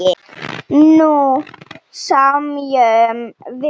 Nú semjum við!